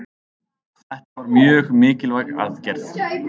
Þetta var mjög mikilvæg aðgerð